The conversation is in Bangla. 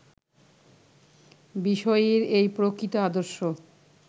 বিষয়ীর এই প্রকৃত আদর্শ